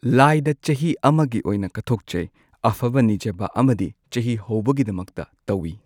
ꯂꯥꯏꯗ ꯆꯍꯤ ꯑꯃꯒꯤ ꯑꯣꯏꯅ ꯀꯠꯊꯣꯛꯆꯩ ꯑꯐꯕ ꯅꯤꯖꯕ ꯑꯃꯗꯤ ꯆꯍꯤ ꯍꯧꯕꯒꯤꯗꯃꯛꯇ ꯇꯧꯏ꯫